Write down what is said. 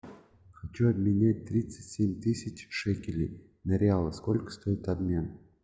хочу обменять тридцать семь тысяч шекелей на реалы сколько стоит обмен